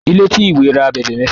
Ilé tí ìwé rà ábèbè méfà.